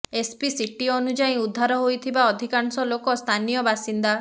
SP city ଅନୁଯାୟୀ ଉଦ୍ଧାର ହୋଇଥିବା ଅଧିକାଂଶ ଲୋକ ସ୍ଥାନୀୟ ବାସିନ୍ଦା